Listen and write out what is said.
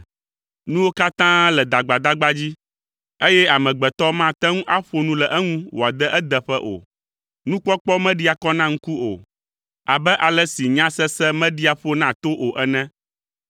Nuwo katã le dagbadagba dzi eye amegbetɔ mate ŋu aƒo nu le eŋu wòade edeƒe o: nukpɔkpɔ meɖia kɔ na ŋku o abe ale si nyasese meɖia ƒo na to o ene.